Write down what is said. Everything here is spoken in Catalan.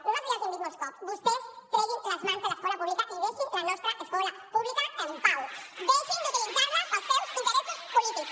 nosaltres ja els hi hem dit molts cops vostès treguin les mans de l’escola pública i deixin la nostra escola pública en pau deixin d’utilitzar la per als seus interessos polítics